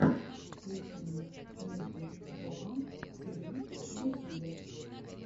включи мне ники джема ти ви в ютюбе